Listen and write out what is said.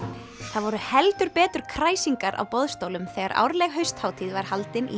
það voru heldur betur kræsingar á boðstólum þegar árleg hausthátíð var haldin í